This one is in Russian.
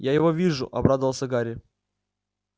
я его вижу обрадовался гарри